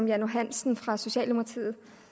jan johansen fra socialdemokratiet